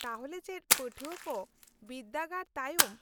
-ᱛᱟᱦᱚᱞᱮ ᱪᱮᱫ ᱯᱟᱹᱴᱷᱣᱟᱹ ᱠᱚ ᱵᱤᱨᱫᱟᱹᱜᱟᱲ ᱛᱟᱭᱚᱢ